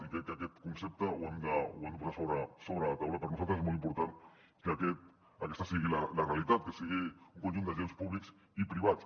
i crec que aquest concepte l’hem de posar sobre la taula per nosaltres és molt important que aquesta sigui la realitat que sigui un conjunt d’agents públics i privats